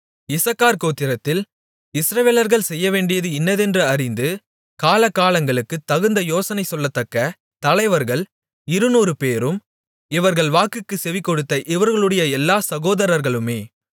இசக்கார் கோத்திரத்தில் இஸ்ரவேலர்கள் செய்யவேண்டியது இன்னதென்று அறிந்து காலாகாலங்களுக்குத் தகுந்த யோசனை சொல்லத்தக்க தலைவர்கள் இருநூறுபேரும் இவர்கள் வாக்குக்குச் செவிகொடுத்த இவர்களுடைய எல்லா சகோதரர்களுமே